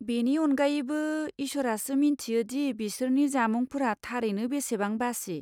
बेनि अनगायैबो, इसोरासो मिन्थियो दि बिसोरनि जामुंफोरा थारैनो बेसेबां बासि।